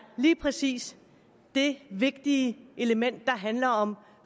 lige præcis det vigtige element i der handler om